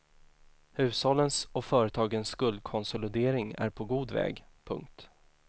Hushållens och företagen skuldkonsolidering är på god väg. punkt